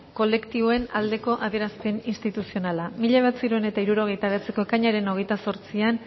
kolektiboen aldeko adierazpen instituzionala mila bederatziehun eta hirurogeita bederatziko ekainaren hogeita zortzian